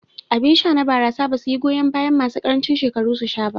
Abin sha na barasa basu yi goyan bayan masu ƙarancin shekaru su sha ba.